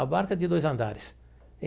A barca é de dois andares.